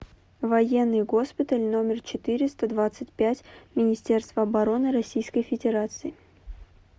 военный госпиталь номер четыреста двадцать пять министерства обороны российской федерации